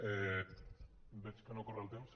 veig que no corre el temps